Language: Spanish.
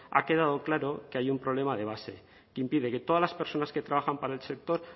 ha quedado claro que hay un problema de base que impide que todas las personas que trabajan para el sector